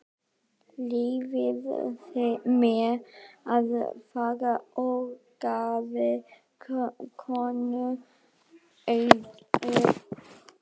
Leyfið mér að fara orgaði konurödd.